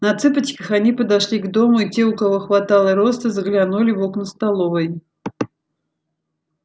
на цыпочках они подошли к дому и те у кого хватало роста заглянули в окна столовой